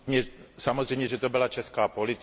Samozřejmě, že to byla česká policie.